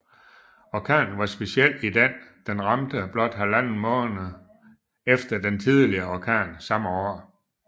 Orkanen var speciel i den den ramte blot halvanden måned efter den tidligere orkan samme år